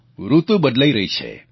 ઋતુ બદલાઈ રહી છે